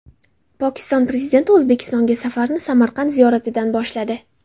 Pokiston Prezidenti O‘zbekistonga safarini Samarqand ziyoratidan boshladi.